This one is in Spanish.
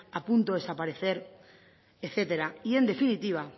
a punto de desaparecer etcétera y en definitiva